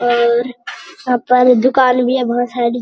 और यहाँ पर दुकान भी है बहुत सारी।